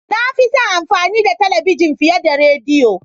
Na fi son amfani da talabijin fiye da rediyo.